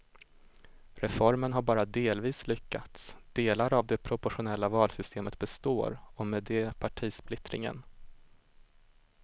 Reformen har bara delvis lyckats, delar av det proportionella valsystemet består och med det partisplittringen.